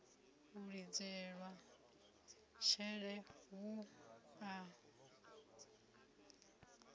u lidzelwa tshele hu a